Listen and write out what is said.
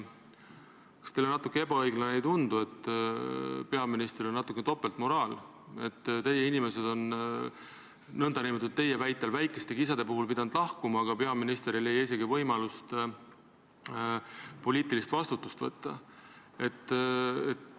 Kas teile ebaõiglane ei tundu, et peaministril on natuke topeltmoraal, kui teie inimesed on teie väitel nn väikese kisa puhul pidanud lahkuma, aga peaminister ei leia võimalust poliitilist vastutust võtta?